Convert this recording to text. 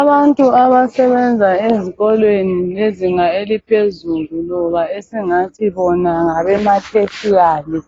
Abantu abasebenza ezikolweni bezinga eliphezulu loba esingathi bona ngabema tertiary